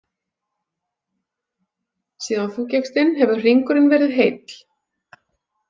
Síðan þú gekkst inn, hefur hringurinn verið heill.